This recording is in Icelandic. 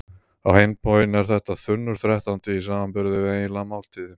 Á hinn bóginn er þetta þunnur þrettándi í samanburði við eiginlega máltíð.